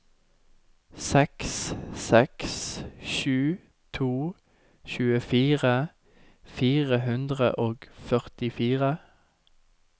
seks seks sju to tjuefire fire hundre og førtifire